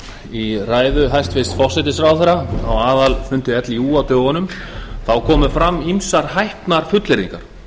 í ræðu hæstvirts forsætisráðherra á aðalfundi líú á dögunum komu fram ýmsar hæpnar fullyrðingar